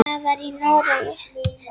Það var í Noregi.